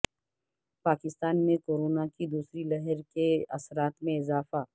پاکستان میں کورونا کی دوسری لہر کے اثرات میں اضافہ